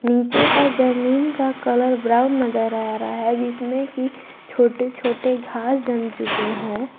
नीचे का जमीन का कलर ब्राउन नजर आ रहा है जिसमें कि छोटे छोटे घास जम चुके हैं।